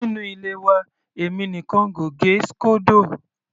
Nínú ilé wa èmi nìkan n kò gẹ síkódò.